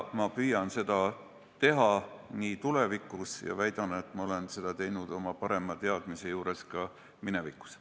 Ma püüan seda teha ka tulevikus ja väidan, et ma olen seda teinud oma paremast teadmisest lähtudes ka minevikus.